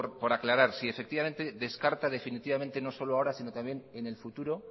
por aclarar si descarta definitivamente no solo ahora sino también en el futuro